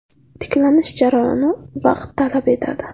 Tiklanish jarayoni vaqt talab etadi.